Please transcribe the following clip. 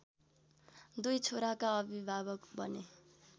दुई छोराका अभिभावक बने।